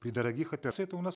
при дрогих это у нас